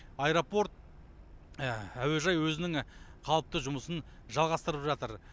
аэропорт әуежай өзінің қалыпты жұмысын жалғастырып жатыр